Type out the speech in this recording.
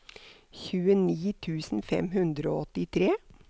tjueni tusen fem hundre og åttitre